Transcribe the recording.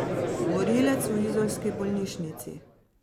Morilec v izolski bolnišnici?